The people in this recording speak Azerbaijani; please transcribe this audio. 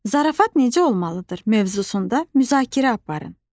Zarafat necə olmalıdır mövzusunda müzakirə aparın.